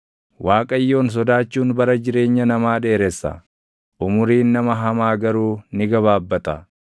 Akkuma wanni dhangaggaaʼaan ilkaan miidhee, // aarris ija miidhu sana namni dhibaaʼaan warra isa ergatu miidha.